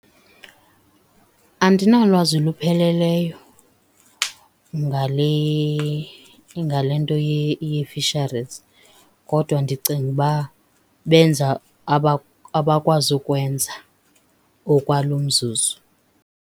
Andinalwazi lupheleleyo ngale nto yeefisharizi kodwa ndicinga uba benza abakwazi ukwenza okwalo mzuzu.